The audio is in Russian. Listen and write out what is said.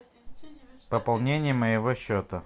пополнение моего счета